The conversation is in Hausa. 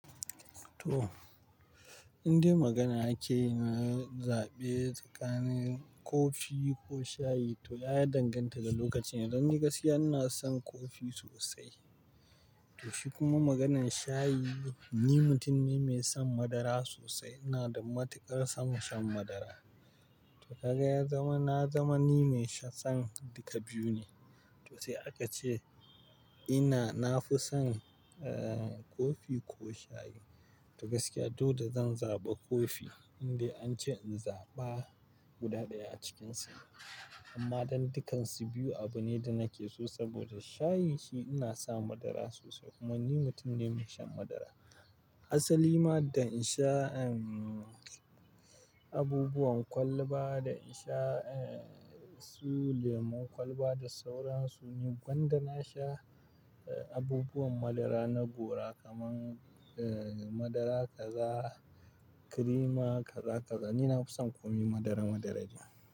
To, indai magana ake yi na zaɓe tsakanin kofi ko shayi, to ya danganta da lokacin. Don ni gaskiya ina son kofi sosai. Toshe kuma maganan shayi, ni mutum ne mai son madara sosai. Ina da matukar son shan madara. To ka ga ya zama na zama ni mai shan duka biyu ne. Tose aka ce ina na fi son, eh, kofi ko shayi. To gaskiya, to da zan zaɓa kofi indai an ce in zaɓa guda ɗaya a cikinsu. Amma dan dukansu biyu abu ne da nake so saboda shayi shi ina sa madara sosai kuma ni mutum ne mai shan madara. Asali ma dan in sha, ehm, abubuwan kwalba da in sha, eh, su lemon kwalba da sauran su ne, gwanda na sha, eh, abubuwan madara na gora kaman, eh, madara kaza, kirima kaza, kaza ni na fi son komai madara, madara ne.